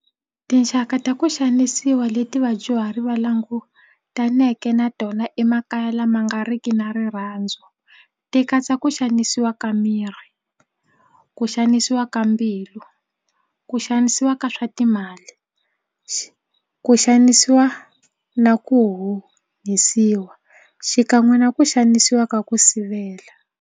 Tinxaka ta ku xanisiwa leti vadyuhari va langutaneke na tona emakaya lama nga riki na rirhandzu ti katsa ku xanisiwa ka miri ku xanisiwa ka mbilu ku xanisiwa ka swa timali ku xanisiwa na ku honisiwa xikan'we na ku xanisiwa ka ku sivela.